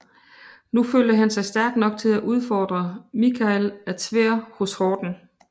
Nu følte han sig stærk nok til at udfordre Mikhail af Tver hos Horden